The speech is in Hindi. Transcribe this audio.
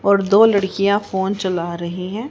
और दो लड़कियां फोन चला रही हैं।